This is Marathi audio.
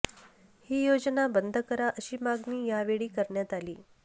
ही योजना बंद करा अशी मागणी या वेळी करण्यात आली